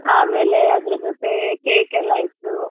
ಆಮೇಲೆ ಅದ್ರು ಜೊತೆ cake ಎಲ್ಲಾ ಇತ್ತು.